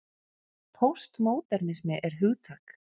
Póstmódernismi er hugtak.